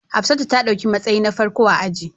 Hafsat ta dauki matsayi na farko a ajin